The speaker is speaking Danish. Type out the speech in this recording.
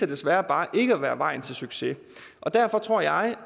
desværre bare ikke at være vejen til succes og derfor tror jeg